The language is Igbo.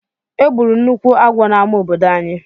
Egburu nnukwu agwọ n'amá obodo ànyị.